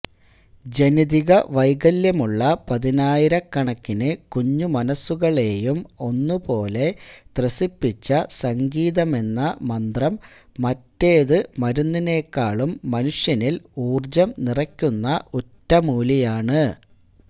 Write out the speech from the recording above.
ജനിതക വൈകല്യമുള്ള പതിനായിരക്കണക്കിന് കുഞ്ഞു മനസ്സുകളെയും ഒന്നുപോലെ ത്രസിപ്പിച്ച സംഗീതമെന്ന മന്ത്രം മറ്റേത് മരുന്നിനെക്കാളും മനുഷ്യനിൽ ഊർജ്ജം നിറക്കുന്ന ഒറ്റമൂലിയാണ്